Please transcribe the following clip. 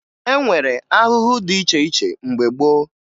E nwere ahụhụ dị iche iche mgbe gboo